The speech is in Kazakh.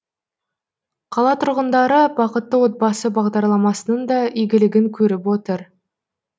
қала тұрғындары бақытты отбасы бағдарламасының да игілігін көріп отыр